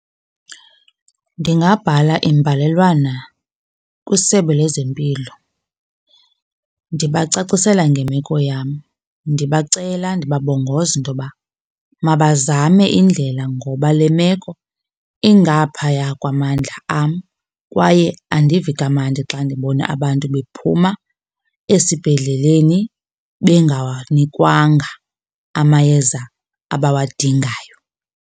Ndingabhala imbalelwano kwisebe lezempilo ndibacacisela ngemeko yam, ndibacela ndibabongoza intoba mabazame indlela ngoba le meko ingaphaya kwamandla am, kwaye andivi kamandi xa ndibona abantu bephuma esibhedleleni bengawanikwanga amayeza abawadingayo.